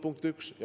Punkt üks.